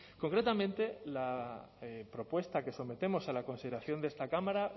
concretamente la propuesta que sometemos a la consideración de esta cámara